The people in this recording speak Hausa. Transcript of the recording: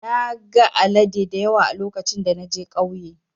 Na gan alade dayawa a lokacin da na je kauye.